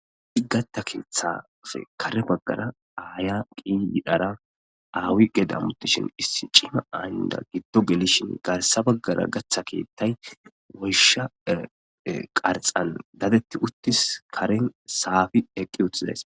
Di gatta keeththafe kare baggara aaya qi yidhara aawi gedamutishin issi ciima ayynda giddo gelishin garsa baggara gaththa keettay woysha qarxan dadetti uttis karen saafi eqqi uththizays.